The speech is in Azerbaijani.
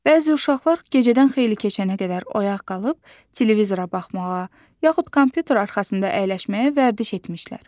Bəzi uşaqlar gecədən xeyli keçənə qədər oyaq qalıb televizora baxmağa, yaxud kompüter arxasında əyləşməyə vərdiş etmişlər.